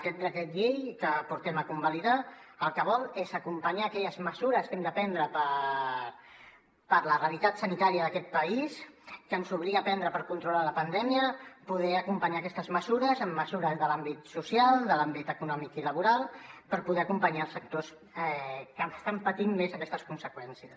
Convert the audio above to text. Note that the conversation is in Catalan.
aquest decret llei que portem a convalidar el que vol és acompanyar aquelles mesures que hem de prendre per a la realitat sanitària d’aquest país que ens obliga a prendre per controlar la pandèmia poder acompanyar aquestes mesures amb mesures de l’àmbit social de l’àmbit econòmic i laboral per poder acompanyar els sectors que estan patint més aquestes conseqüències